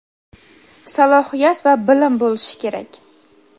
salohiyat va bilim bo‘lishi kerak.